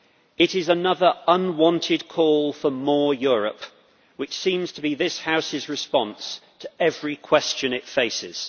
It is another unwanted call for more Europe, which seems to be this House's response to every question it faces.